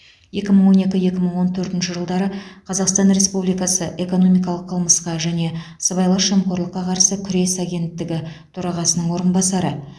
екі мың он екі екі мың он төртінші жылдары қазақстан республикасы экономикалық қылмысқа және сыбайлас жемқорлыққа қарсы күрес төрағасының орынбасары